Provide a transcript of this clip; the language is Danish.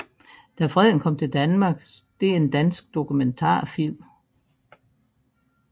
Da Freden kom til Danmark er en dansk dokumentarfilm